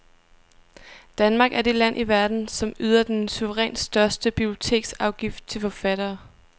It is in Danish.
Danmark er det land i verden, som yder den suverænt største biblioteksafgift til forfattere.